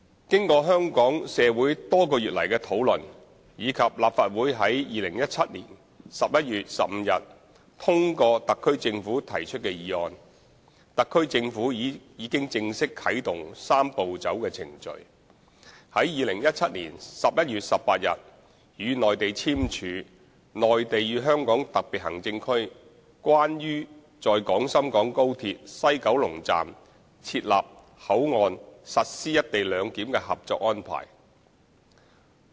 經過香港社會多個月來的討論，以及立法會在2017年11月15日通過特區政府提出的議案，特區政府已經正式啟動"三步走"程序，於2017年11月18日與內地簽署《內地與香港特別行政區關於在廣深港高鐵西九龍站設立口岸實施"一地兩檢"的合作安排》。